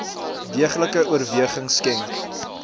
deeglike oorweging skenk